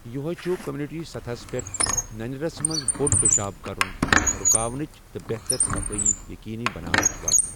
یوہے چُھ کمیونٹی سطحس پیٹھ ننیرَس منز بوٚڈ پیشاب کرُن رُکاونٕچ تہٕ بہتر صفٲیی یقینی بناونچ وتھ ۔